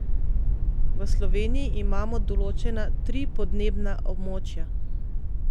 V Sloveniji imamo določena tri podnebna območja.